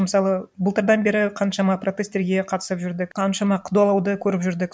мысалы былтырдан бері қаншама протесттерге қатысып жүрдік қаншама қудалауды көріп жүрдік